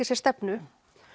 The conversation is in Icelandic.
sér stefnu